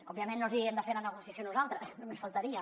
òbviament no els hi hem de fer la negociació nosaltres només faltaria